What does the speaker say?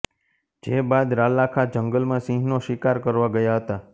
જે બાદ રાલાખા જંગલમાં સિંહનો શિકાર કરવા ગયા હતા